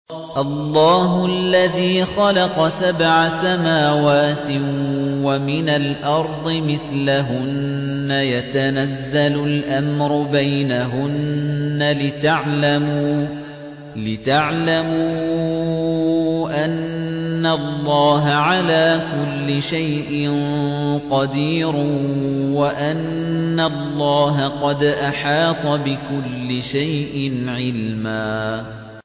اللَّهُ الَّذِي خَلَقَ سَبْعَ سَمَاوَاتٍ وَمِنَ الْأَرْضِ مِثْلَهُنَّ يَتَنَزَّلُ الْأَمْرُ بَيْنَهُنَّ لِتَعْلَمُوا أَنَّ اللَّهَ عَلَىٰ كُلِّ شَيْءٍ قَدِيرٌ وَأَنَّ اللَّهَ قَدْ أَحَاطَ بِكُلِّ شَيْءٍ عِلْمًا